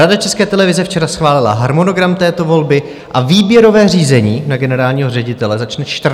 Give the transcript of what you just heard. Rada České televize včera schválila harmonogram této volby a výběrové řízení na generálního ředitele začne 14. února.